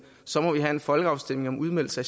så må have en folkeafstemning om udmeldelse af